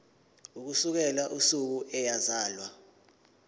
ukusukela usuku eyazalwa